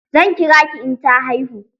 Zan kira ki in ta haihu.